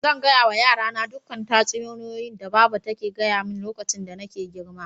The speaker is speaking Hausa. Zan gaya wa yara na dukan tatsuniyan da baba ya gaya mani lokacin da nake girma.